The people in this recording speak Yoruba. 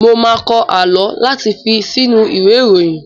Mo máa n kọ àlọ́ láti fi si inú ìwé ìròyìn.